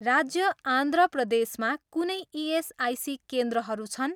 राज्य आन्ध्र प्रदेश मा कुनै इएसआइसी केन्द्रहरू छन्